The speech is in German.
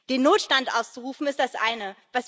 Den Notstand auszurufen, ist das eine.